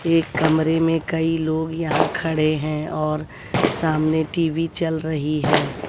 एक कमरे में कई लोग यहां खड़े हैं और सामने टी_वी चल रही है।